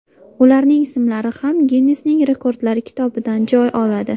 Ularning ismlari ham Ginnesning rekordlar kitobidan joy oladi.